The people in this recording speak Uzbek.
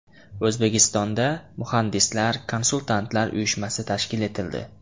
O‘zbekistonda Muhandislar-konsultantlar uyushmasi tashkil etildi.